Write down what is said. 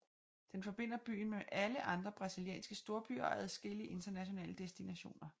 Den forbinder byen med alle andre brasilianske storbyer og adskillige internationale destinationer